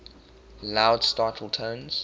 loud startle tones